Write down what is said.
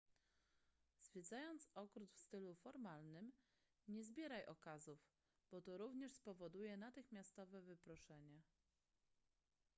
zwiedzając ogród w stylu formalnym nie zbieraj okazów bo to również spowoduje natychmiastowe wyproszenie